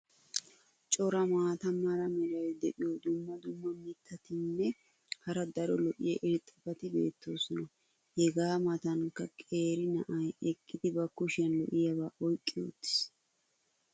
cora maata mala meray diyo dumma dumma mitatinne hara daro lo'iya irxxabati beetoosona. hegaa matankka qeeri na"ay eqqidi ba kushiyan lo'iyaaba oyqqi uttiis.